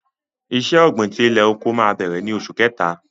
Ìṣẹ̀ ògbin tí ilẹ̀-oko mà bẹ̀rẹ̀ ní Ọṣù Kẹ̀tà.